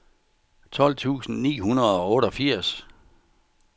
tolv tusind ni hundrede og otteogfirs